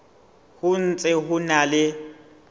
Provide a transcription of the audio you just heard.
ho ntse ho na le